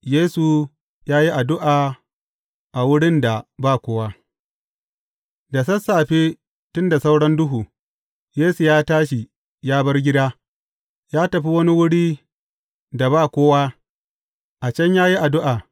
Yesu ya yi addu’a a wurin da ba kowa Da sassafe, tun da sauran duhu, Yesu ya tashi, ya bar gida, ya tafi wani wurin da ba kowa, a can ya yi addu’a.